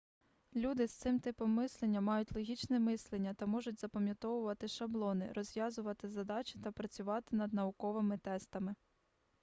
люди з цим типом мислення мають логічне мислення та можуть запам'ятовувати шаблони розв'язувати задачі та працювати над науковими тестами